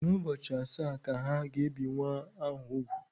N'ubọchi asa ka ha gēbì nwa ahu úgwù.